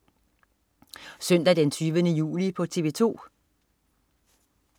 Søndag den 20. juli - TV 2: